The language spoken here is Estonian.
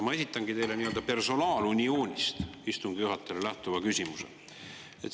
Ma esitangi teile, istungi juhatajale, nii-öelda personaalunioonist lähtuva küsimuse.